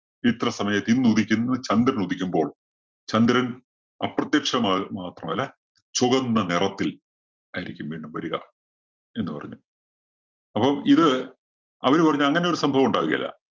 ഇത്ര സമയത്ത് ഇന്ന് ഉദിക്കുന്നു. ചന്ദ്രന്‍ ഉദിക്കുമ്പോള്‍ ചന്ദ്രന്‍ അപ്രതിക്ഷമായി മാത്രമല്ല, ചുകന്ന നെറത്തില്‍ ആയിരിക്കും വീണ്ടും വരിക എന്ന് പറഞ്ഞു. അപ്പോ ഇത് അവര് പറഞ്ഞു അങ്ങനൊരു സംഭവം ഉണ്ടാവുകേല.